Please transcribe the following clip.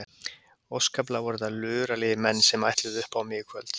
Óskaplega voru þetta luralegir menn sem ætluðu upp á mig í kvöld.